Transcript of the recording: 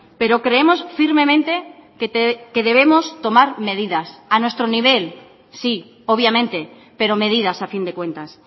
pero creemos firmemente que debemos tomar medidas a nuestro nivel sí obviamente pero medidas a fin de cuentas